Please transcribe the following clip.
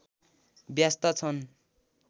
व्यस्त छन्